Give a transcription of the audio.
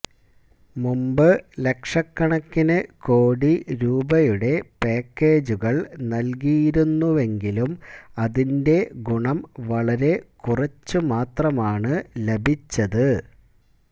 മുമ്പ് ലക്ഷക്കണക്കിന് കോടി രൂപയുടെ പാക്കേജുകള് നല്കിയിരുന്നുവെങ്കിലും അതിന്റെ ഗുണം വളരെ കുറച്ചുമാത്രമാണ് ലഭിച്ചത്